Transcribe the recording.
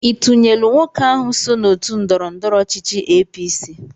Ị tunyelụ nwoke ahụ so n'otu ndọrọndọrọ ọchịchị APC?